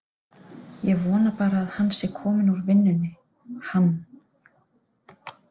Ég vona bara að hann sé kominn úr vinnunni, hann.